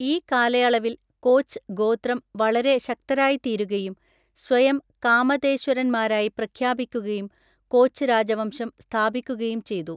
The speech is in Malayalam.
ഈ കാലയളവിൽ കോച്ച് ഗോത്രം വളരെ ശക്തരായിത്തീരുകയും സ്വയം കാമതേശ്വരന്മാരായി പ്രഖ്യാപിക്കുകയും കോച്ച് രാജവംശം സ്ഥാപിക്കുകയും ചെയ്തു.